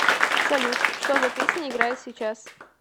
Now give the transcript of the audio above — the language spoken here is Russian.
салют что за песня играет сейчас